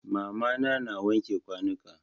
Mama na na wanke kwanuka.